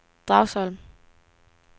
Dragsholm